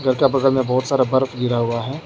का बगल बहोत सारा बर्फ गिरा हुआ है।